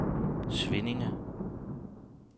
Svinninge